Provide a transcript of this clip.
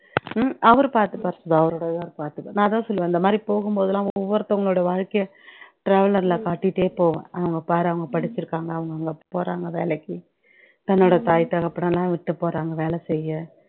உம் அவரு பாத்துப்பாரு கௌறதையா பாத்துப்பாரு நான் அதான் சொல்லுவேன் இந்தமாதிரி போகும்போதுலாம் ஒவ்வொருத்தவங்களுடைய வாழ்க்கைய traveller ல காட்டிட்டே போவேன் அவங்க பாரு அவங்க படிச்சுருக்காங்க அவங்க அங்க போறாங்க வேலைக்கு தன்னோட தாய், தகப்பனை எல்லாம் விட்டு போறாங்க வேலை செய்ய